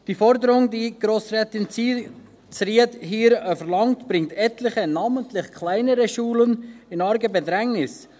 Die Forderung von Grossrätin Zryd bringt etliche, namentlich kleinere Schulen in arge Bedrängnis.